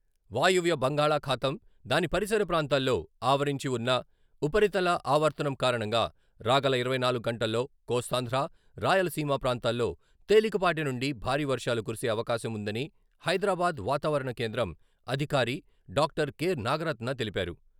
వాయువ్య బంగాళాఖాతం, దాని పరిసర ప్రాంతాల్లో ఆవరించి వన్న ఉపరితల ఆవర్తనం కారణంగా రాగల ఇరవై నాలుగు గంటల్లో కోస్తాంధ్ర, రాయలసీమ ప్రాంతాల్లో తేలికపాటి నుండి భారీ వర్షాలు కురిసే అవకాశం వుందని హైదరాబాద్ వాతావరణ కేంద్రం అధికారి డాక్టర్ కె. నాగరత్న తెలిపారు.